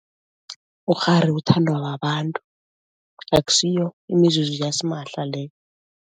Ukghari uthandwa babantu, akusiyo imizuzu yasimahla leyo.